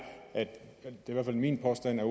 i hvert fald min påstand er